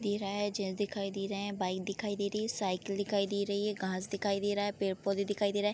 दे रहा है गेट्स दिखाई दे रहे हैंबाइक दिखाई दे रही है साइकिल दिखाई दे रही है घांस दिखाई दे रहा है पेड़-पौधे दिखाई दे रहा है।